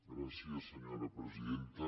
gràcies senyora presidenta